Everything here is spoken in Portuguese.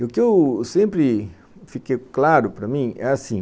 E o que eu sempre fiquei claro para mim é assim,